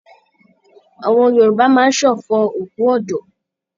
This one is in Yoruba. Àwọn Yorùbá máa ń ṣọ̀fọ̀ òkú ọ̀dọ́.